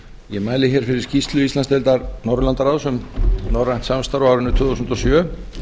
ég mæli hér fyrir skýrslu íslandsdeildar norðurlandaráðs um norrænt samstarf á árinu tvö þúsund og sjö